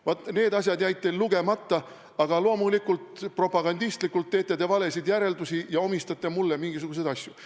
Vaat need asjad jäid teil lugemata, aga loomulikult teete te propagandistlikult valesid järeldusi ja omistate mulle mingisuguseid asju.